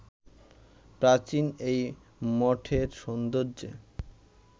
প্রাচীন এই মঠের সৌন্দর্যে